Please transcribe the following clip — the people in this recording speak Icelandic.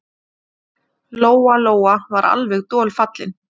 Lóa-Lóa var alveg dolfallin.